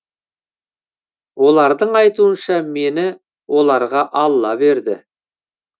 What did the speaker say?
олардың айтуынша мені оларға алла берді